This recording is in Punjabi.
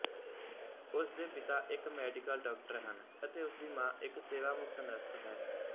ਉਸਦੇ ਪਿਤਾ ਇੱਕ ਮੈਡੀਕਲ ਡਾਕਟਰ ਹਨ ਅਤੇ ਉਸਦੀ ਮਾਂ ਇੱਕ ਸੇਵਾਮੁਕਤ ਨਰਸ ਹੈ